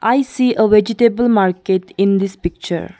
I see a vegetable market in this picture.